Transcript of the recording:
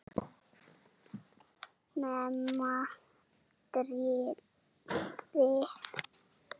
Nema trýnið.